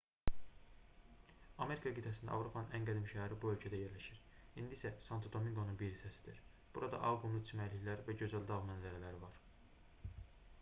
amerika qitəsində avropanın ən qədim şəhəri bu ölkədə yerləşir indi isə santo-dominqonun bir hissəsidir burada ağ qumlu çimərliklər və gözəl dağ mənzərələri var